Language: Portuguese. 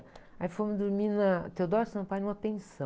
Aí fomos dormir na Theodoro Sampaio, numa pensão.